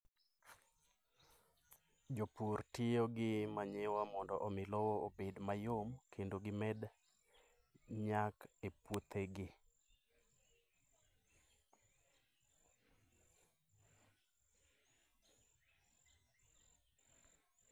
Jopur tiyo gi manyiwa mondo omi lowo obed mayom kendo gimed nyak e puothegi.